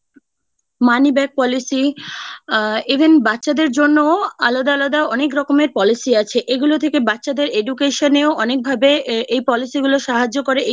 money back policy , uh even বাচ্চাদের জন্যও আলাদা আলাদা অনেক রকমের policy আছে। এগুলো থেকে বাচ্চাদের education এও অনেকভাবে এই policy গুলো সাহায্য করে।